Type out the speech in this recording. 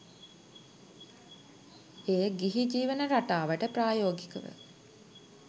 එය ගිහි ජීවන රටාවට ප්‍රායෝගිකව